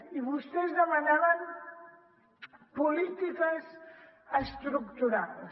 i vostès demanaven polítiques estructurals